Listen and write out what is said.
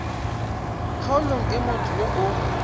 kgaolong e motho yo o